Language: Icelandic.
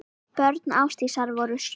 Börn Ásdísar voru sjö.